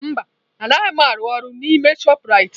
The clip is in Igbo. Mba anaghị m arụ ọrụ n'ime chopụ Raitị